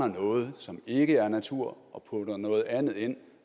noget som ikke er natur og putter noget andet ind